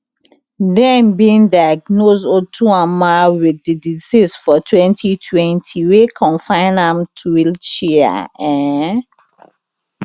dem bin diagnose otuoma wit di disease for twenty twenty wey confine am to wheelchair um